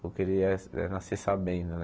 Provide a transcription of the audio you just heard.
Porque ele é é nascer sabendo, né?